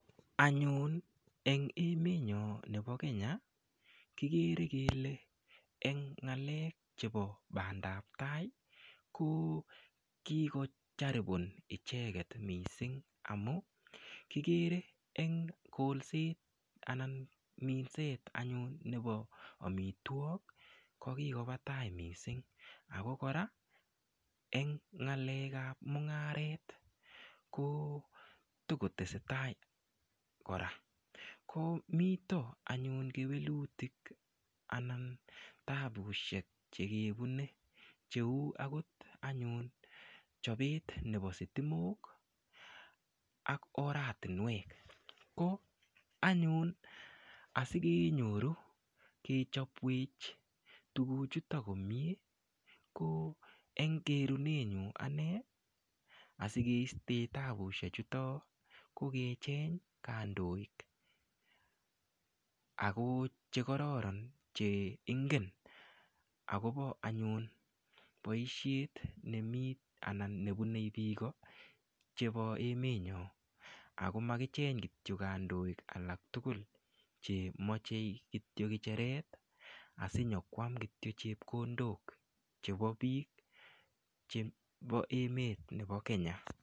Anyun eng emet nyo nebo Kenya kikere kele eng ng'alek chebo bandaptai tai ko kikocharipon icheket mising amu kikere eng kolset anan minset anyun nebo omitwok ko kikopa tai mising ako kora eng ng'alek ap mung'aret ko tokotesetai kora ko mito anyun kewelutik anan taabushek chekebune cheu akot anyun chopet nebo sitimok ak oratinwek ko anyun asikenyoru kechopwech tukuchuto komie ko eng kerunenyu ane asikeistee taabushek chuto ko kecheny kandoik ako chekororon cheingen akobo anyun boishet nemi anan nebunei biiko chebo emet nyo ako makicheny kityo kandoik alak tukul chemachei kityo kicheret asinyokwam kityo chepkondok chebo biik chebo emet nebo Kenya.